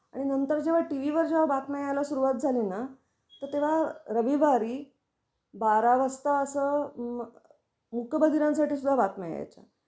आणि नंतर जेव्हा टीव्ही वर जेव्हा बातम्या यायला सुरुवात झालीना तर तेव्हा रविवारी बारा वाजता असं मूक बधिरांसाठी सुद्धा बातम्या यायच्या.